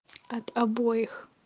от обоих